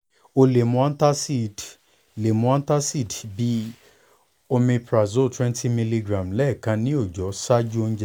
o le mu antacid le mu antacid bíi omeprazole twenty miligram lẹ́ẹ̀kan ni ọjọ ṣaaju ounjẹ